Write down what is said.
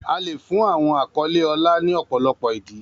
A lè fún àwọn àkọlé ọlá ní ọ̀pọ̀lọpọ̀ ìdí.